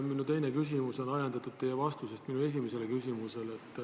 Minu teine küsimus on ajendatud teie vastusest minu esimesele küsimusele.